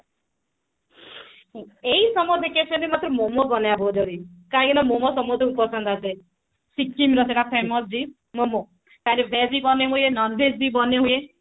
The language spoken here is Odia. ଏଇ summer vacation ରେ ମତେ ମୋମୋ ବନେଇବାର ବହୁତ ଜରୁରୀ କାହିଁକି ନା ମୋମୋ ସମସ୍ତଙ୍କୁ ପସନ୍ଦ ଆସେ ସିକିମ ର ସେଟା famous dish ମୋମୋ ତାର veg ବି ବନେଇ ହୁଏ non veg ବି ବନେଇ ହୁଏ